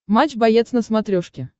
матч боец на смотрешке